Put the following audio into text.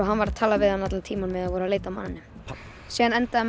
hann var að tala við hann allan tímann á meðan þeir voru að leita að manninum síðan endaði